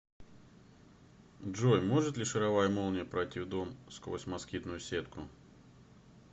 джой может ли шаровая молния пройти в дом сквозь москитную сетку